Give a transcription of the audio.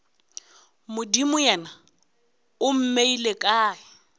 modimo yena o mmeile kae